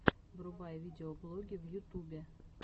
врубай видеоблоги в ютубе